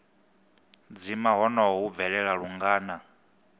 dzima honoho hu bvelela lungana